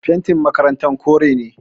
Fentin makarantar kore ne